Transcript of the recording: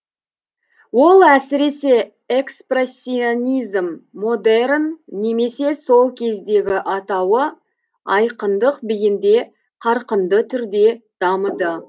ол әсіресе экспрессионизм модерн немесе сол кездегі атауы айқындық биінде қарқынды түрде дамыды